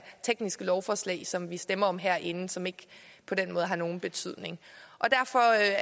tekniske lovforslag som vi stemmer om herinde som ikke på den måde har nogen betydning derfor er